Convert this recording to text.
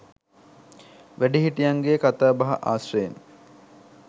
වැඩිහිටියන්ගේ කතාබහ ආශ්‍රයෙන්